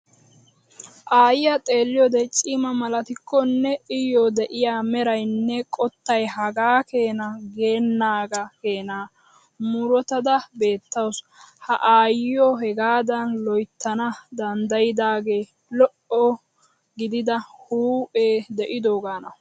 Aayyiyaa xeelliyoode cima malatikkonne Iyoo de'iyaa meraynne kottay hagaa keena geennaagaa keenaa murutada beettaasu. Ha aayyiyoo hegaadan loyttana danddayidaagee lo"o gidida huuphee de'idoogaana.